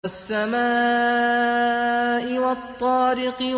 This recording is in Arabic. وَالسَّمَاءِ وَالطَّارِقِ